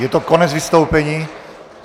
Je to konec vystoupení?